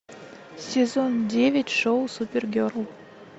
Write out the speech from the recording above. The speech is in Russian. сезон девять шоу супергерл